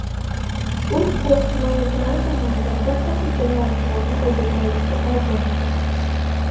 U huquq himoyachilari tomonidan bir qancha jinoyatchilarni o‘ldirganlikda ayblanadi.